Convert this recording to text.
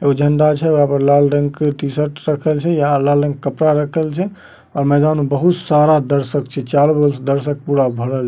एगो झंडा छे यहा पे लाल रंग की टी-शर्ट रखल छे यहाँ लाल रंग के कपड़ा रखल छे और मैदान में बहुत सारा दर्शक छै चारो ओर दर्शक पूरा भरल --